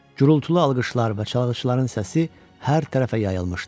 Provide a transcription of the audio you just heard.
Gurultulu alqışlar və çalğıçıların səsi hər tərəfə yayılmışdı.